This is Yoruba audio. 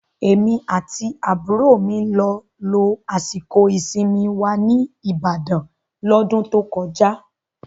Èmi àti àbúrò mi lọ lo àsìkò ìsinmi wa ní Ìbàdàn L'ọ́dún tó kọjá